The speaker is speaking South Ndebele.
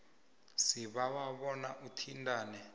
sibawa bona uthintane